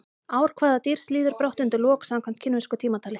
Ár hvaða dýrs líður brátt undir lok samkvæmt kínversku tímatali?